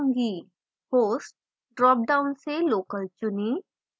host dropdown से local चुनें